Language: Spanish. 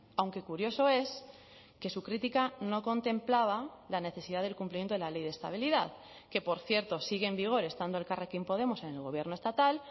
aunque curioso es que su crítica no contemplaba la necesidad del cumplimiento de la ley de estabilidad que por cierto sigue en vigor estando elkarrekin podemos en el gobierno estatal